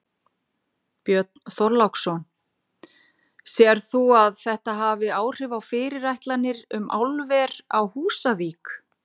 Björn Þorláksson: Sérð þú að þetta hafi áhrif á fyrirætlanir um álver á Húsavík?